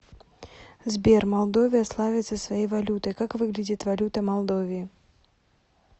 сбер молдовия славится своей валютой как выглядит валюта молдовии